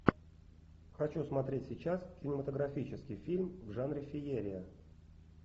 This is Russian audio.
хочу смотреть сейчас кинематографический фильм в жанре феерия